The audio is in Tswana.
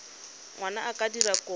ngwana a ka dira kopo